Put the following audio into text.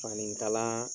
Fani kala